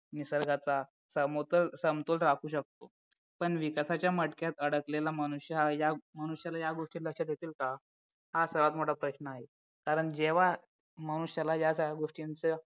निसर्गाचा समतोल राहू शकतो पण विकासाच्या मटक्यात अडकलेला मनुष्य हा या मनुष्याला ह्या गोष्टी लक्षात येतील का हा सर्वात मोठा प्रश्न आहे कारण जेव्हा मनुष्यला या गोष्टींचा